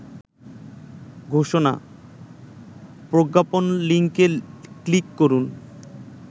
ঘোষণা/ প্রজ্ঞাপন লিংকে ক্লিক করুন